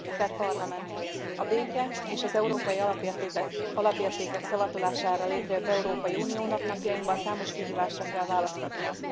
Elnök Asszony! A béke, és az európai alapértékek szavatolására létrejött Európai Uniónak napjainkban számos kihívásra kell választ adnia.